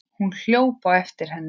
Hún hljóp á eftir henni.